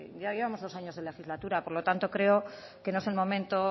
ya llevamos dos años de legislatura por lo tanto creo que no es el momento